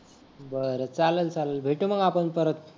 बर चालल चालल भेटू मग आपण परत